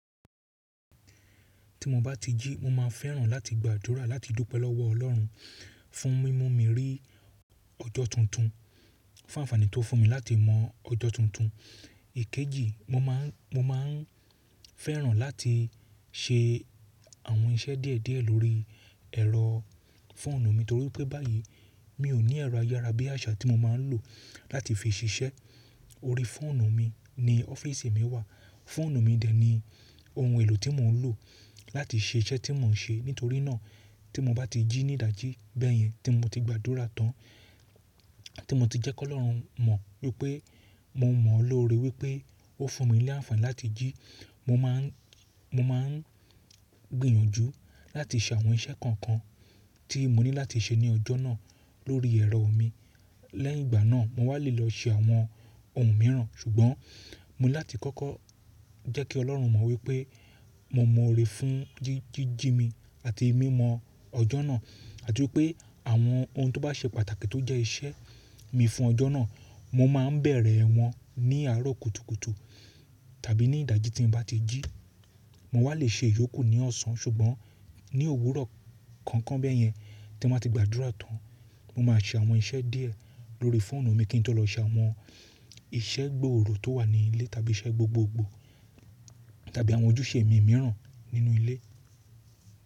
Tí mo bá ti jí, mo máa fẹ́ràn láti gbàdúrà láti dúpẹ́ lọ́wọ́ Ọlọ́run fún mímú mi rí ọjọ́ tuntun, fún àǹfààní tó fún mi láti mọ ọjọ́ tuntun. Èkejì, mo máà n fẹ́ràn láti ṣe àwọn iṣẹ́ díẹ̀ díẹ̀ lórí ẹ̀rọ fóònù mi torí pé báyìí mi ò ní ẹ̀rọ ayára bí àṣá tí mo máa ń lò láti fi ṣiṣẹ́. Orí fóònù mi ni ọ́fíìsì mi wà, fóònù mi dẹ̀ ni ohun èlò tí mò ń lò láti ṣe iṣẹ́ tí mò ń ṣe. Nítorí náà tí mo bá ti jí ní ìdájí bẹ́ẹ̀ yẹn tí mo ti gbàdúrà tán, tí mo ti jẹ́ kó Ọlọ́run mọ̀ wípé mo mọ̀ ọ́ lóore wípé ó fún mi ní àǹfààní láti jí, mo máà n gbìyànjú láti ṣe àwọn iṣẹ́ kankan tí mo ní láti ṣe ní ọjọ́ náà lórí ẹ̀rọ mi. Lẹ́yìn ìgbà náà, mo wà lè lọ ṣe àwọn ohun mìíràn ṣùgbọ́n mo ní láti kọ́kọ́ jẹ́ kí Ọlọ́run mọ̀ wípé mo mọ̀ ọ́ lòore fún jíjí mi àti mímọ ọjọ́ náà àti wípé àwọn ohun tó bá ṣe pàtàkì tó jẹ́ iṣẹ́ mi fún ọjọ́ náà, mo máa ń bẹ̀rẹ̀ wọn ní àárọ̀ kùtùkùtù tàbí ní ìdájí tí mo bá ti jí. Mo wà lè ṣe ìyókù ní ọ̀sán ṣùgbọ́n ní òwúrọ̀ kankan bẹ́ẹ̀ yẹn tí mo bá ti gbàdúrà tán, mo máa ṣe àwọn iṣẹ́ díẹ̀ lórí fóònù mi kí n tó lọ ṣe àwọn iṣẹ́ gbòòrò tó wà ní ilé tàbí iṣẹ́ gbogbogbò tàbí àwọn ojúṣe mi mìíràn nínú ilé.